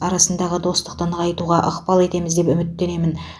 арасындағы достықты нығайтуға ықпал етеміз деп үміттенемін